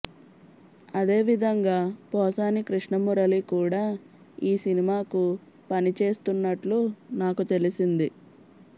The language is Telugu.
అదే విధంగా పోసాని కృష్ణమురళి కూడా ఈ సినిమాకు పనిచేస్తున్నట్లు నాకు తెలిసింది